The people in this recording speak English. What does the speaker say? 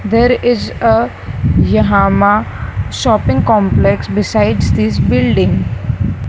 there is a yahama shopping complex besides this building.